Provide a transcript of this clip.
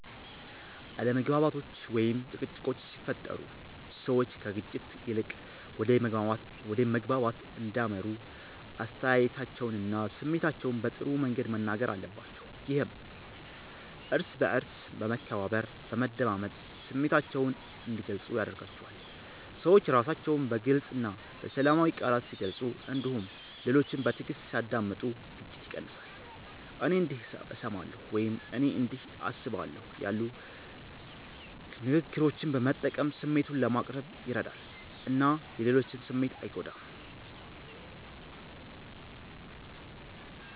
አለመግባባቶች ወይም ጭቅጭቆች ሲፈጠሩ ሰዎች ከግጭት ይልቅ ወደ መግባባት እንዲያመሩ አስተያየታቸውንና ስሜታቸውን በጥሩ መንገድ መናገር አለባቸው። ይህም እርስ በእርስ በመከባበር፣ በመደማመጥ ስሜታቸውን እንዲገልጹ ያደርጋቸዋል። ሰዎች ራሳቸውን በግልፅ እና በሰላማዊ ቃላት ሲገልጹ እንዲሁም ሌሎችን በትዕግስት ሲያዳምጡ ግጭት ይቀንሳል። “እኔ እንዲህ እሰማለሁ” ወይም “እኔ እንዲህ አስባለሁ” ያሉ ንግግሮችን መጠቀም ስሜትን ለማቅረብ ይረዳል እና የሌሎችን ስሜት አይጎዳም።